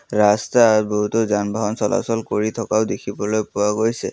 ৰাস্তাত বহুতো যান বাহন চলাচল কৰি থকাও দেখিবলৈ পোৱা গৈছে।